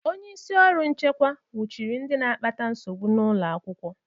Onye isi ọrụ nchekwa nwụchiri ndị na-akpata nsogbu n'ụlọ akwụkwọ.